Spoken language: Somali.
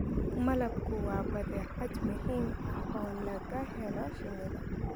Malabku waa badeecad muhiim ah oo laga helo shinnida.